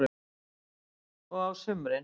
Björn: Og á sumrin?